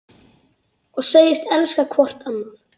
Og segjast elska hvort annað.